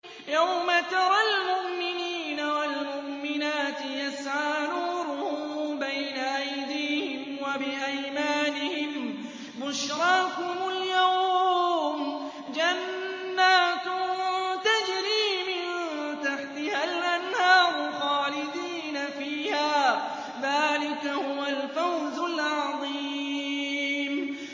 يَوْمَ تَرَى الْمُؤْمِنِينَ وَالْمُؤْمِنَاتِ يَسْعَىٰ نُورُهُم بَيْنَ أَيْدِيهِمْ وَبِأَيْمَانِهِم بُشْرَاكُمُ الْيَوْمَ جَنَّاتٌ تَجْرِي مِن تَحْتِهَا الْأَنْهَارُ خَالِدِينَ فِيهَا ۚ ذَٰلِكَ هُوَ الْفَوْزُ الْعَظِيمُ